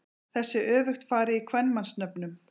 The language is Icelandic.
Þessu er öfugt farið í kvenmannsnöfnum.